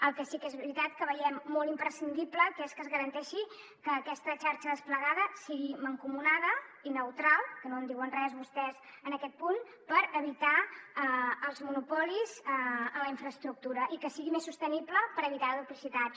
el que sí que és veritat que veiem molt imprescindible que es garanteixi que aquesta xarxa desplegada sigui mancomunada i neutral que no en diuen res vostès en aquest punt per evitar els monopolis en la infraestructura i que sigui més sostenible per evitar duplicitats